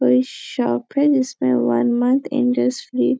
ये शॉप है इसमें वन मंथ इंट्रेस्ट फ्री --